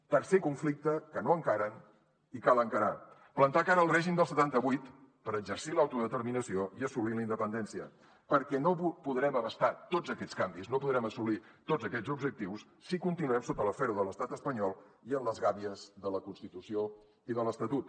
tercer conflicte que no encaren i cal encarar plantar cara al règim del setanta vuit per exercir l’autodeterminació i assolir la independència perquè no podrem abastar tots aquests canvis no podrem assolir tots aquests objectius si continuem sota la fèrula de l’estat espanyol i en les gàbies de la constitució i de l’estatut